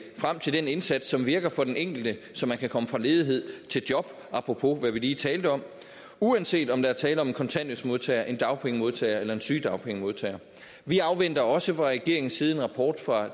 frem til den indsats som virker for den enkelte så man kan komme fra ledighed til job apropos hvad vi lige talte om uanset om der er tale om en kontanthjælpsmodtager en dagpengemodtager eller en sygedagpengemodtager vi afventer også fra regeringens side en rapport fra